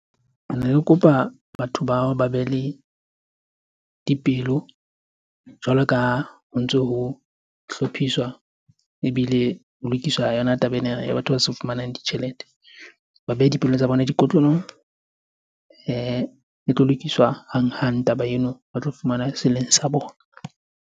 Rene re kopa batho bao ba be le dipelo jwalo ka ho ntso ho hlophiswa ebile ho lokiswa yona taba ena ya batho ba sa fumanang ditjhelete. Ba behe dipelong tsa bona dikotlolong. E tlo lokiswa hanghang taba eno, ba tlo fumana se leng sa bona.